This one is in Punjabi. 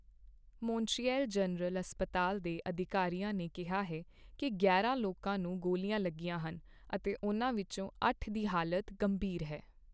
ਮੌਂਟਰੀਅਲ ਜਨਰਲ ਹਸਪਤਾਲ ਦੇ ਅਧਿਕਾਰੀਆਂ ਨੇ ਕਿਹਾ ਹੈ ਕੀ ਗਿਆਰਾਂ ਲੋਕਾਂ ਨੂੰ ਗੋਲੀਆਂ ਲੱਗੀਆਂ ਹਨ ਅਤੇ ਉਨ੍ਹਾਂ ਵਿੱਚੋਂ ਅੱਠ ਦੀ ਹਾਲਤ ਗੰਭੀਰ ਹੈ।